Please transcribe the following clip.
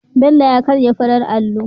Bello ya karya farar allo